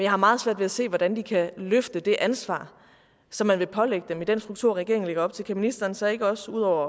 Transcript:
har meget svært ved at se hvordan de kan løfte det ansvar som man vil pålægge dem med den struktur regeringen lægger op til kan ministeren så ikke også ud over